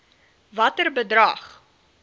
watter bedrag